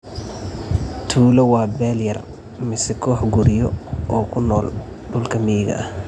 Tuulo waa beel yar mise koox guryo oo ku nool dhulka miyiga ah,